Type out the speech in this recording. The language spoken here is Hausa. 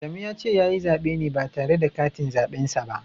Adamu ya ce ya yi zaɓe ne ba tare da katin zaɓen sa ba.